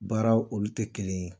Baara olu tɛ kelen ye